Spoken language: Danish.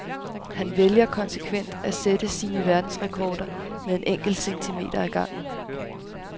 Han vælger konsekvent at sætte sine verdensrekorder med en enkelt centimeter ad gangen.